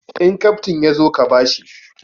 In kaftin ya zo ka ba shi!